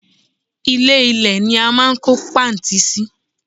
Ilè- ilé ní a máa n kó pààntí sí